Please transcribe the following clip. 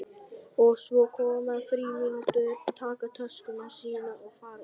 Og svo koma frímínútur, taka töskuna sína og fara út.